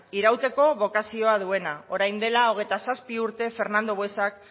irauteko bokazioa duena orain dela hogeita zazpi urte fernando buesak